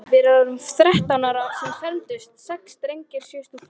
Við vorum þrettán sem fermdumst, sex drengir og sjö stúlkur.